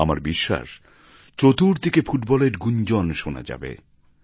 আমার বিশ্বাস চতুর্দিকে ফুটবলের গুঞ্জন শোনা যাবে